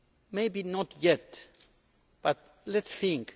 Maybe not yet, but let us think.